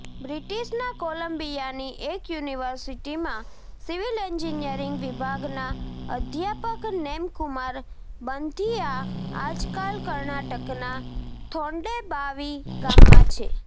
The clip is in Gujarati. બ્રિટિશના કોલંબિયાની એક યુનિવર્સિટીમાં સિવિલ એન્જિનિયરિંગ વિભાગના અધ્યાપક નેમકુમાર બંથિઆ આજકાલ કર્ણાટકના થોન્ડેબાવી ગામમાં છે